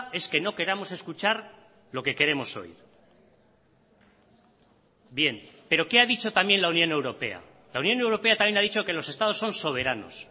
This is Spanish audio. es que no queramos escuchar lo que queremos oír bien pero qué ha dicho también la unión europea la unión europea también ha dicho que los estados son soberanos